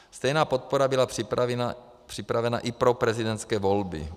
Stejná podpora byla připravena i pro prezidentské volby.